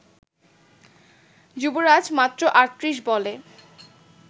যুবরাজ মাত্র ৩৮ বলে